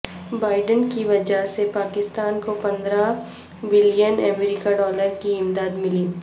Biden کی وجہ سے پاکستان کو پندرہ بلین امریکی ڈالر کی امداد ملی